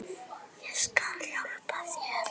Ég skal hjálpa þér.